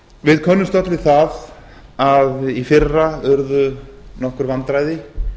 við könnumst öll við það að í fyrra urðu nokkur vandræði